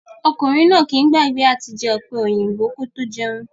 Ọkùnrin náà kìí gbàgbé àti jẹ ọ̀pẹ̀-òyìnbò kí ó tó jẹun